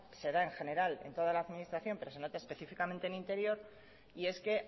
se da en general en toda la administración pero se nota específicamente en interior y es que